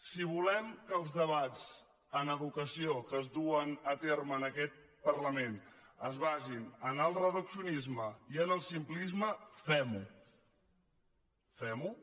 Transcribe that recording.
si volem que els debats d’educació que es duen a terme en aquest parlament es basin en el reduccionisme i en el simplisme fem ho fem ho